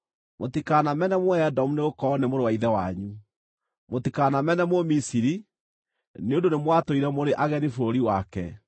Mũtikanamene Mũedomu nĩgũkorwo nĩ mũrũ wa ithe wanyu. Mũtikanamene Mũmisiri, nĩ ũndũ nĩmwatũire mũrĩ ageni bũrũri wake.